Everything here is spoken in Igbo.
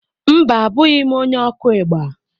Mba, Abụghị m onye okú igba.